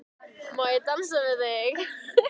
Má ég dansa við þig?